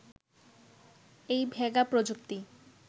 এই ভেগা প্রযুক্তি